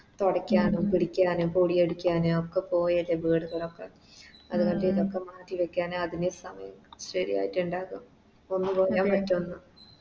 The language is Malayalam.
തൊടക്കാനും പിടിക്കാനും പൊടിയടിക്കാനും ഒക്കെ പോയല്ലേ അത് കാരണം ഇതൊക്കെ മാറ്റി വെക്കാനേ അതിനെ സമയം ശെരിയായിറ്റ് ഇണ്ടാകും ഒന്നും പറയാൻ പറ്റോ